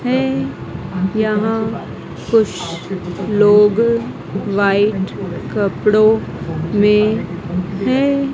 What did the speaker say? है यहां कुछ लोग व्हाइट कपड़ों में हैं।